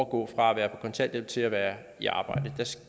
gå fra at være på kontanthjælp til at være i arbejde